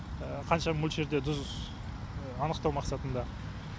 қанша мөлшерде тұз анықтау мақсатында